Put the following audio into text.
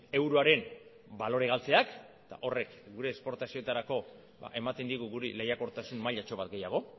euroaren balore galtzeak eta horrek gure esportazioetarako ematen digu guri lehiakortasun mailatxo bat gehiago